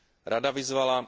Rada vyzvala